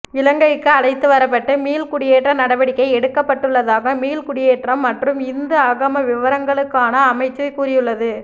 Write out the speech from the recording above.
இலங்கைக்கு அழைத்து வரப்பட்டு மீள்குடியேற்ற நடவடிக்கை எடுக்கப்பட்டுள்ளதாக மீள்குடியேற்றம் மற்றும் இந்து ஆகம விவகாரங்களுக்கான அமைச்சு கூறியுள்ளது